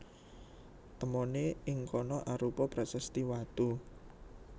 Temoné ing kana arupa prasasti watu